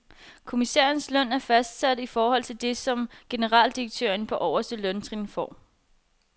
Kommissærernes løn er fastsat i forhold til det, som en generaldirektør på øverste løntrin får.